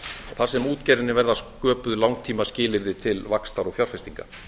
þar sem útgerðinni verða sköpuð langtímaskilyrði til vaxtar og fjárfestinga